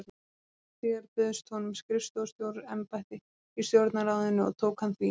Skömmu síðar bauðst honum skrifstofustjóra- embætti í Stjórnarráðinu og tók hann því.